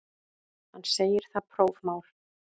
Hann segir það prófmál.